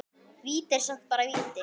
Víti er samt bara víti.